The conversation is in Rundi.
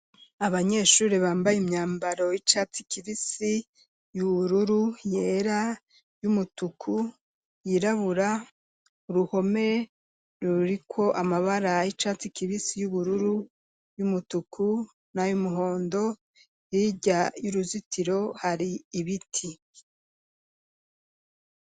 Abanyeshuri bambaye imyambaro y'icatsi kibisi ,y'ubururu ,yera, y'umutuku ,yirabura, uruhome ruriko amabara y'icatsi kibisi ,yubururu ,y'umutuku na y'umuhondo yirya y'uruzitiro hari ibiti.